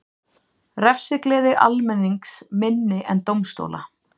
Refsigleði almennings minni en dómstóla